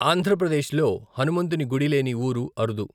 ఆంధ్ర ప్రదేశ్ లో హనుమంతుని గుడి లేని ఊరు అరుదు.